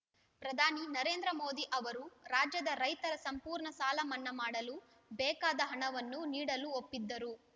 ಪ್ರಧಾನಿ ನರೇಂದ್ರ ಮೋದಿ ಅವರು ರಾಜ್ಯದ ರೈತರ ಸಂಪೂರ್ಣ ಸಾಲ ಮನ್ನಾ ಮಾಡಲು ಬೇಕಾದ ಹಣವನ್ನು ನೀಡಲು ಒಪ್ಪಿದ್ದರು